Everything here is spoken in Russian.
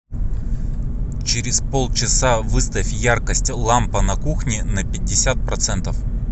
через полчаса выставь яркость лампа на кухне на пятьдесят процентов